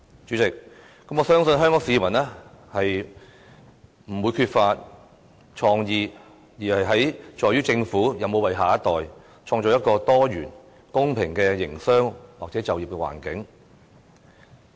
主席，我相信香港市民不是缺乏創意，而是在於政府有否為下一代創造一個多元、公平的營商或就業環境。